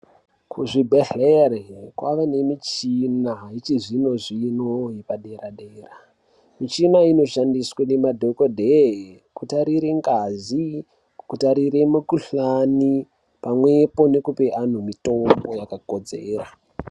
Kuzvibhedhlere kwave nemichina yechizvino-zvino yepadera-dera. Michina iyi inoshandiswa nemadhogodheye kutarire ngazi kutarire mikuhlani pamwepo nekupe antu mitombo yakakodzera.